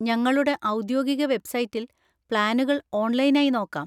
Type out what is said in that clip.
ഞങ്ങളുടെ ഔദ്യോഗിക വെബ്‌സൈറ്റിൽ പ്ലാനുകൾ ഓൺലൈൻ ആയി നോക്കാം.